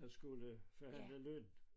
der skulle forhandle løn